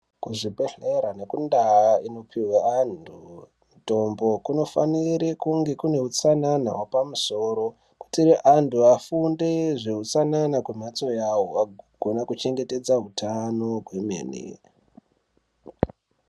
Kuzvibhehlera nekundau inopihwe antu mitombo kunofanire kunge kune hutsanana hwepamusoro kuitire antu afunde zveutsanana kwemhatso yawo akugona kuchengetedza utano kwemene